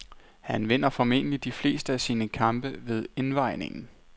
Han vinder formentlig de fleste af sine kampe ved indvejningen.